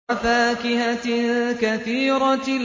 وَفَاكِهَةٍ كَثِيرَةٍ